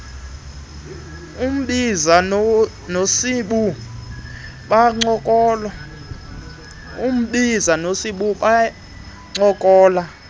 ubhiza nosibu bancokola